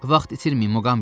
Vaxt itirməyin Muqambi.